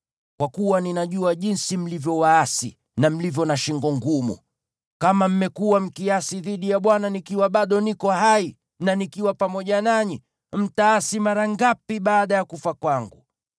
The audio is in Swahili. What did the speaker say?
Kwa kuwa ninajua jinsi mlivyo waasi na mlivyo na shingo ngumu. Kama mmekuwa mkiasi dhidi ya Bwana nikiwa bado niko hai na nikiwa pamoja nanyi, mtaasi mara ngapi baada ya kufa kwangu!